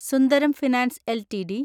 Sundaram finance LTD